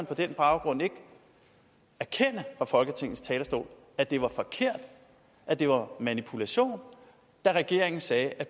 på den baggrund erkende fra folketingets talerstol at det var forkert at det var manipulation da regeringen sagde at